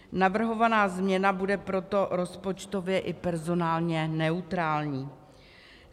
Navrhovaná změna bude proto rozpočtově i personálně neutrální.